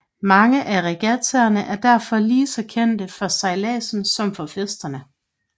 Mange af regattaerne er derfor lige så kendte for sejladsen som for festerne